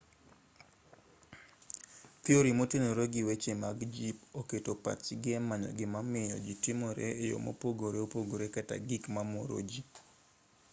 thiori motenore gi weche mag jip oketo pachgi e manyo gimamiyo ji timore e yo mopogore opogore kata gik mamoro ji